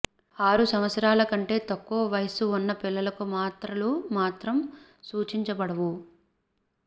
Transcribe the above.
ఆరు సంవత్సరాల కంటే తక్కువ వయస్సు ఉన్న పిల్లలకు మాత్రలు మాత్రం సూచించబడవు